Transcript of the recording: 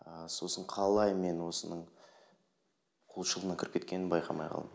ы сосын қалай мен осының құлшылығына кіріп кеткенімді байқамай қалдым